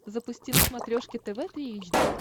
запусти на смотрешке тв три эйч ди